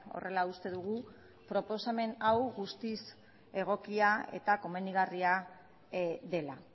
horrela uste dugu proposamen hau guztiz egokia eta komenigarria dela